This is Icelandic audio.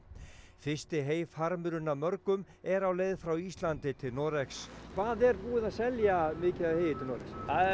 fyrsti heyfarmurinn af mörgum er á leið frá Íslandi til Noregs hvað er búið að selja mikið af heyi til Noregs